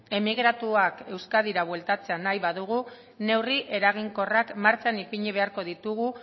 emigratuak euskadira bueltatzea nahi badugu neurri eraginkorrak martxan ipini beharko ditugu